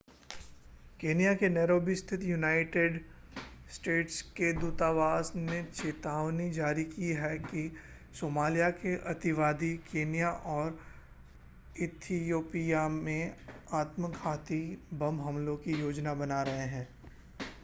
Kenya के Nairobi स्थित United States के दूतावास ने चेतावनी जारी की है कि सोमालिया के अतिवादी केन्या और इथियोपिया में आत्मघाती बम हमलों की योजना बना रहे हैं